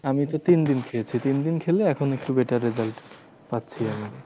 আমিতো তিনদিন খেয়েছি। তিনদিন খেলে এখন একটু better result পাচ্ছি আমি